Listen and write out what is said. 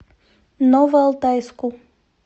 новоалтайску